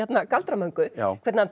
galdra Möngu hvernig hann